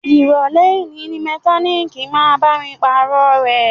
Ìrọ̀lẹ́ òní ni mọkálíìkì máa bá mi Pààrọ̀ ẹ̀